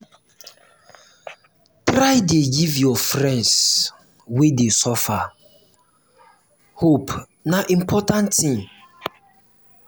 try dey give your friends wey dey suffer hope na important tin.